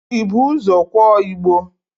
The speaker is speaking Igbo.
Ị bu ụzọ kwọọ igbo?